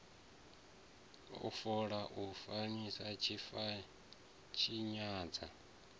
wa fola u a tshinyadza